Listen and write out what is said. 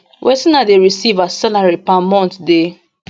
wetin i dey receive as salary per month dey